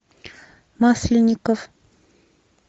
масленников